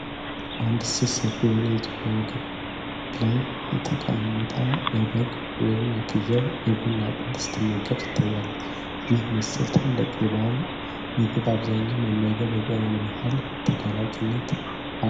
አንዲት ሴት ሰፊ በሆነ የኢትዮጵያ ምግብ ላይ የተቀመጠ የበግ/የፍየል የጎድን አጥንት ስትመገብ ትታያለች። ይህን የመሰለ ትልቅ የበዓል ምግብ በአብዛኛው መመገብ ለጤና ምን ያህል ተጋላጭነት አለው?